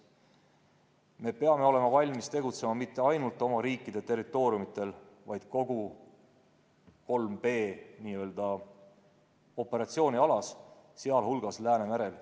Me peame olema valmis tegutsema mitte ainult oma riigi territooriumil, vaid kogu 3B-operatsioonialas, sh Läänemerel.